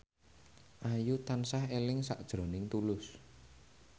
Ayu tansah eling sakjroning Tulus